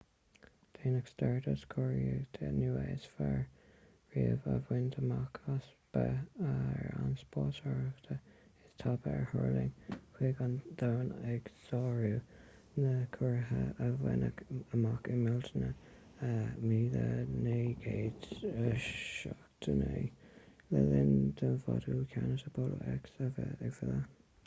déanfaidh stardust curiarracht nua is fearr riamh a bhaint amach as bheith ar an spásárthach is tapa a thuirling chuig an domhan ag sárú na curiarrachta a baineadh amach i mbealtaine 1969 le linn do mhodúl ceannais apollo x a bheith ag filleadh